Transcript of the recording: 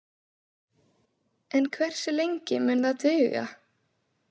En hversu lengi mun það duga?